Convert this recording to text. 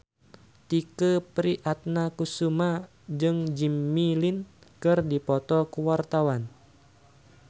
Tike Priatnakusuma jeung Jimmy Lin keur dipoto ku wartawan